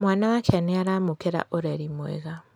Mwana wake nĩaramũkĩra ũreri mwega